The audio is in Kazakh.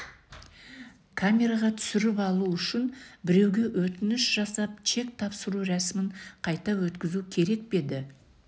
камераға түсіріп алу үшін біреуге өтініш жасап чек тапсыру рәсімін қайта өткізу керек пе еді